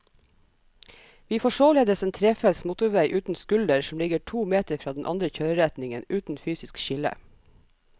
Vi får således en trefelts motorvei uten skulder som ligger to meter fra den andre kjøreretningen, uten fysisk skille.